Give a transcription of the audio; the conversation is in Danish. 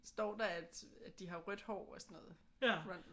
Står der at de har rødt hår og sådan noget? Ron?